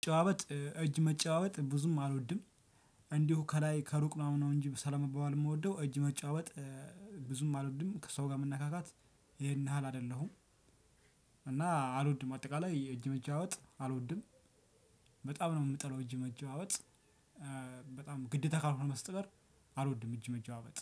መጨባበጥ እጅ መጨባበጥ ብዙም አልወድም። እንዲሁ ከላይ ከሩቅ ምናምን ነው እንጂ ሰላም መባባል የምወደው እጅ መጨባበጥ። ብዙም አልወድም ከሰው ጋር መነካካት ይሄን ያህል አይደለሁም። እና አልወድም አጠቃላይ የእጅ መጨባበጥ አልወድም። በጣም ነው የምጠላው እጅ መጨባበጥ። በጣም ግዴታ ካልሆነ በስተቀር አልወድም እጅ መጨባበጥ